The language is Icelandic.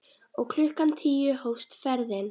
Og klukkan tíu hófst ferðin.